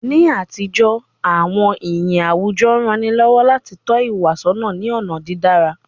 Ni àtijọ́, àwọn iyì àwùjọ rán ni lọ́wọ́ láti tọ́ ìwà sọ́nà ní ọ̀nà dídára.